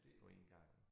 På én gang